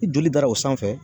Ni joli dara o sanfɛ